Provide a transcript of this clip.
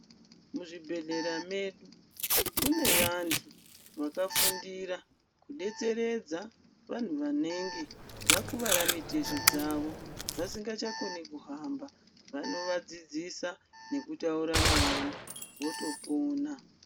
Muzvibhehlera medu kune vantu vakafundira kudetseredza vanhu vanenge vakuwara mitezo dzavo vasingachakoni kuhamba vanovadzidzisa nekutaura navo votopona.